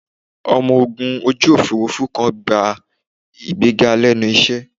Ọmọ ogun ojú Òfurufú kan gba ìgbéga lẹ́nu iṣẹ́